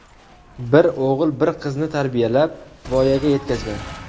Bir o‘g‘il, bir qizni tarbiyalab, voyaga yetkazgan.